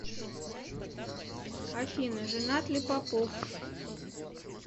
афина женат ли попов